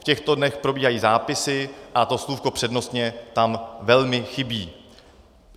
V těchto dnech probíhají zápisy a to slůvko přednostně tam velmi chybí.